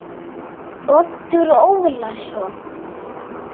Árni Leó.